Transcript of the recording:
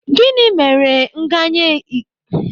Gịnị mere ihe nganye igodo ahụ ji pempe?